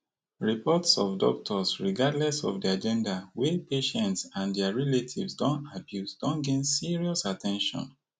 reports of doctors regardless of dia gender wey patients and dia relatives dey abuse don gain serious at ten tion